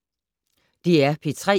DR P3